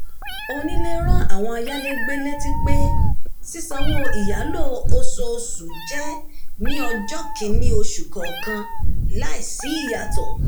onílé ran àwọn ayálégbẹ létí pé sísanwó ìyàlò oṣooṣu jẹ́ ní ọjọ́ kìíní oṣù kọọkan láìsí ìyàsọ́tọ̀